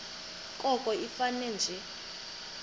koko ifane nje